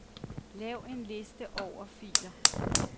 Lav en liste over filer.